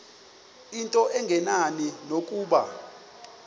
into engenani nokuba